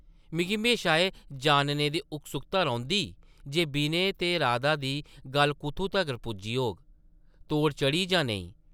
मिगी म्हेशां एह् जानने दी उत्सुकता रौंह्दी जे विनय ते राधा दी गल्ल कुʼत्थूं तगर पुज्जी होग; तोड़ चढ़ी जां नेईं ?